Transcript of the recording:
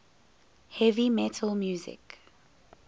heavy metal music